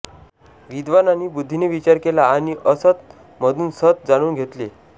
विद्वानांनी बुध्दीने विचार केला आणि असत् मधून सत् जाणुन घेतले